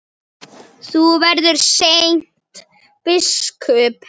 Þú verður seint biskup!